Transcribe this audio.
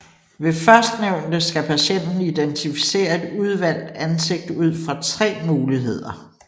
Ved førstnævnte skal patienten identificere et udvalgt ansigt ud fra tre muligheder